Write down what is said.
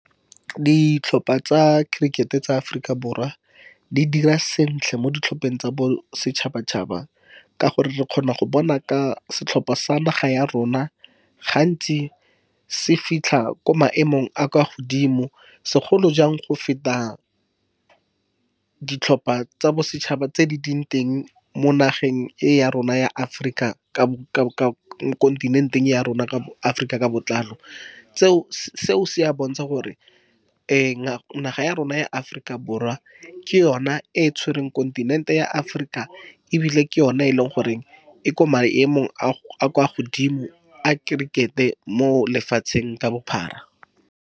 Ditlhopha tsa kirikete tsa Aforika Borwa di dira sentle mo ditlhopheng tsa bosetšhaba-tšhaba, ka gore re kgona go bona ka setlhopha sa naga ya rona, gantsi se fitlha ko maemong a a kwa godimo, segolo jang go feta ditlhopha tsa bosetšhaba tse di leng teng mo nageng e ya rona ya Aforika , kontinenteng ya rona Aforika ka botlalo. Seo se a bontsha gore naga ya rona ya Aforika Borwa ke yona e e tshwereng kontinente ya Aforika, ebile ke yona e leng gore e ko maemong a kwa godimo a kirikete mo lefatsheng ka bophara.